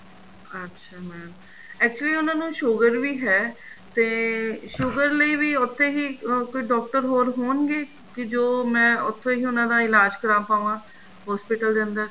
ਅੱਛਾ mam actually mam ਉਹਨਾ ਨੂੰ sugar ਵੀ ਹੈ ਤੇ sugar ਲਈ ਵੀ ਉੱਥੇ ਹੀ ਕੋਈ ਡਾਕਟਰ ਹੋਰ ਹੋਣਗੇ ਕੀ ਜੋ ਮੈਂ ਉੱਥੋ ਹੀ ਉਹਨਾ ਦਾ ਇਲਾਜ਼ ਕਰਾ ਪਾਵਾਂ hospital ਦੇ ਅੰਦਰ